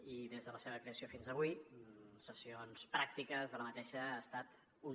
i des de la seva creació fins avui de sessions pràctiques d’aquesta n’hi ha hagut una